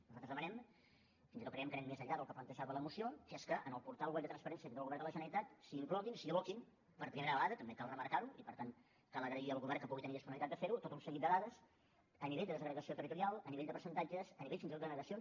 nosaltres demanem fins i tot creiem que anem més enllà del que plantejava la moció que en el portal web de transparència que té el govern de la generalitat s’hi incloguin s’hi aboquin per primera vegada també cal remarca ho i per tant cal agrair al govern que pugui tenir disponibilitat de fer ho tot un seguit de dades a nivell de desagregació territorial a nivell de percentatges a nivell fins i tot de denegacions